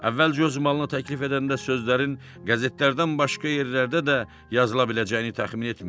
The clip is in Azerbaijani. Əvvəlcə öz malını təklif edəndə sözlərin qəzetlərdən başqa yerlərdə də yazıla biləcəyini təxmin etmirdi.